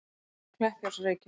Kleppjárnsreykjum